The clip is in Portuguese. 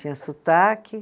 Tinha sotaque.